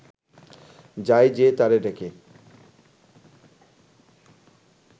যায় যে তারে ডেকে